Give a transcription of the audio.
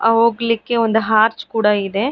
ಅವು ಹೊಗಲಿಕ್ಕೆ ಒಂದು ಆರ್ಚ್ ಕೂಡ ಇದೆ.